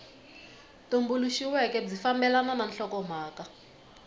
tumbuluxiweke byi fambelana na nhlokomhaka